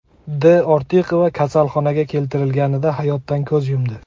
D. Ortiqova kasalxonaga keltirilganida hayotdan ko‘z yumdi.